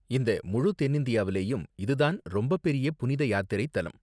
இந்த முழு தென்னிந்தியாவுலயும் இது தான் ரொம்பப்பெரிய புனித யாத்திரை தலம்.